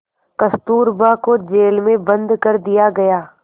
कस्तूरबा को जेल में बंद कर दिया गया